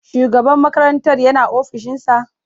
Shugaban makarantar yana ofishinsa?